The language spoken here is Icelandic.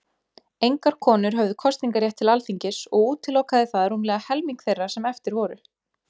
Engar konur höfðu kosningarétt til Alþingis, og útilokaði það rúmlega helming þeirra sem eftir voru.